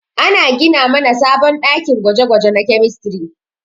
Ana gina mana sabon ɗakin gwaje-gwaje na kemistri.